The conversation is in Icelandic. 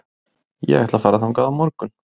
Ég ætla að fara þangað á morgun.